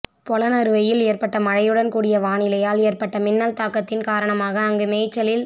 பொலனறுவையில் ஏற்பட்ட மழையுடன் கூடிய வானிலையால் ஏற்பட்ட மின்னல் தாக்கத்தின் காரணமாக அங்கு மேய்ச்சலில்